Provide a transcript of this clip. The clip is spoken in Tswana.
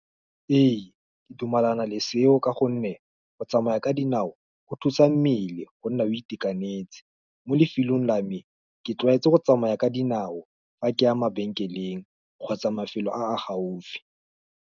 Ee, ke dumelana le seo ka gonne, go tsamaya ka dinao, go thusa mmele, go nna o itekanetse, mo lefelong la me, ke tlwaetse go tsamaya ka dinao, fa ke a mabenkeleng, kgotsa mafelo a a gaufi.